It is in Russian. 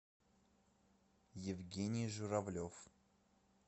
евгений журавлев